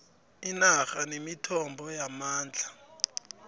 inarha nemithombo yamandla